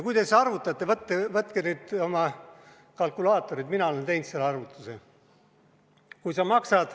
Võtke nüüd oma kalkulaatorid, mina olen selle arvutuse teinud.